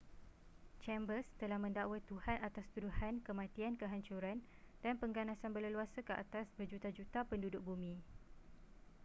chambers telah mendakwa tuhan atas tuduhan kematian kehancuran dan pengganasan berleluasa ke atas berjuta-juta penduduk bumi